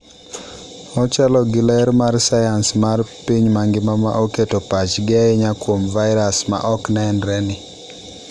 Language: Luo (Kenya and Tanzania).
Ochalo gi ler mar sayans mar piny mangima ma oketo pachgi ahinya kuom virus ma ok nenre ni.